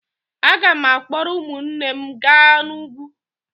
Aga m akpọrọ ụmụnne m gaa n'ugwu.